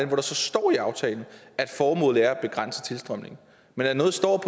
hvor der så står i aftalen at formålet er at begrænse tilstrømningen men at noget står